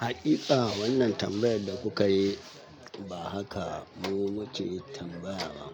Haƙiƙa wannan tambayar da kuka yi ba haka mu muke tambaya ba.